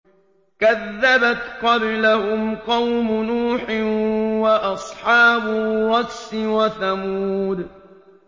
كَذَّبَتْ قَبْلَهُمْ قَوْمُ نُوحٍ وَأَصْحَابُ الرَّسِّ وَثَمُودُ